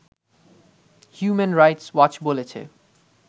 human rights watch বলেছে